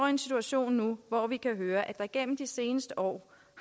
en situation nu hvor vi kan høre at der igennem de seneste år